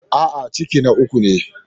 A'a, ciki na uku ne.